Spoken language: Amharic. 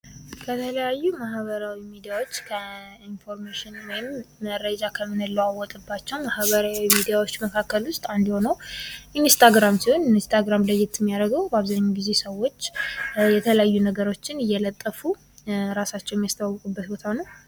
ከተለያዩ ማህበራዊ ሚዲያዎች ከኢንፎርሜሽን ወይም መረጃ ከምንለዋወጥባቸው ማህበራዊ ሚዲያዎች መካከል ውስጥ አንዱ የሆነው ኢንስታግራም ሲሆን በአብዛኛው ጊዜ ለየት የሚያደርገው ሰዎች የተለያዩ ነገሮችን እየለቀቁ ራሳቸውን የሚያስተዋወቁበት ቦታ ነው።